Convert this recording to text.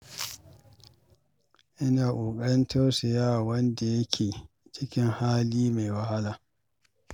Ina ƙoƙarin tausaya wa wanda yake cikin wani hali mai wahala.